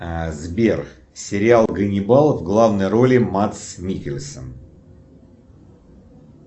сбер сериал ганнибал в главной роли мадс миккельсен